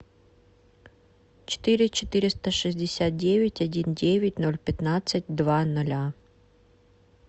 четыре четыреста шестьдесят девять один девять ноль пятнадцать два ноля